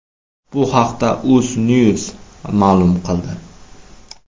Bu haqda UzNews ma’lum qildi .